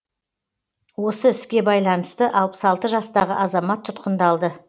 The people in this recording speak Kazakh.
осы іске байланысты алпыс алты жастағы азамат тұтқындалды